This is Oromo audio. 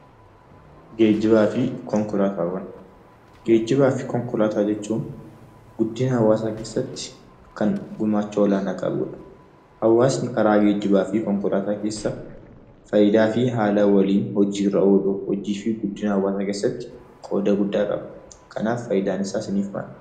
Geejjibaa fi konkolaataawwan. Geejjibaa fi konkolaataa jechuun guddina hawaasaa keessatti kan gumaacha olaanaa qabudha. Hawaasni karaa geejjibaa fi konkolaataa keessa faayidaa fi haala waliin hojiirra ooluu hojii fi guddina hawaasaa keessatti qooda guddaa qaba. Kanaaf faayidaan isaa siniif maali?